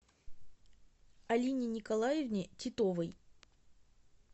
алине николаевне титовой